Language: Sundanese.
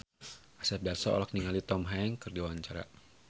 Asep Darso olohok ningali Tom Hanks keur diwawancara